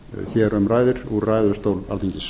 hér um ræðir úr ræðustól alþingis